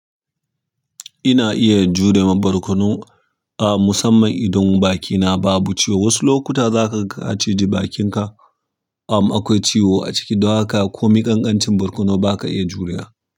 Ina iya jure ma barkono, a musamman idan bakina babu ciwo. Wasu lokuta zaka ka ci ji bakinka ama akwai ciwo a ciki, don haka komai kankancin barkono baka iya juriya.